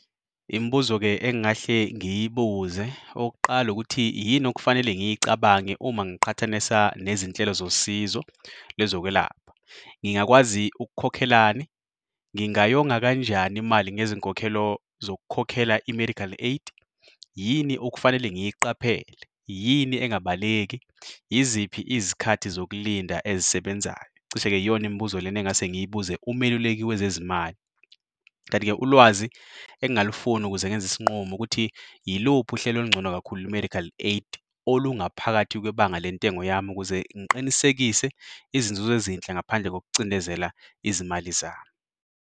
Imibuzo-ke engingahle ngiyibuze, okokuqala ukuthi yini okufanele ngiyicabange uma ngiqhathanisa nezinhlelo zosizo lezokwelapha. Ngingakwazi ukukhokhelani, ngingayonga kanjani imali ngezinkokhelo zokukhokhela i-medical aid? Yini okufanele ngiyiqaphele? Yini engabaleki? Yiziphi izikhathi zokulinda ezisebenzayo? Cishe-ke iyona imibuzo lena engingase ngiyibuze umeluleki wezezimali. Kanti-ke ulwazi engangilifuna ukuze ngenze isinqumo ukuthi iluphi uhleli olungcono kakhulu lwe-medical aid olungaphakathi kwebanga lentengo yami ukuze ngiqinisekise izinzuzo ezinhle ngaphandle kokucindezela izimali zami.